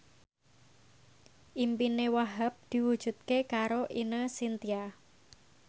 impine Wahhab diwujudke karo Ine Shintya